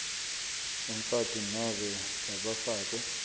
umfati nobe labafakwe